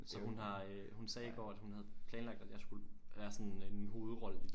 Så hun har hun sagde i går at hun havde planlagt at jeg skal være sådan en hovedrolle i det